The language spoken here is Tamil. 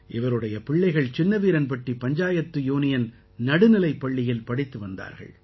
இவருடைய பிள்ளைகள் சின்னவீரன்பட்டி பஞ்சாயத்து யூனியன் நடுநிலைப்பள்ளியில் படித்து வந்தார்கள்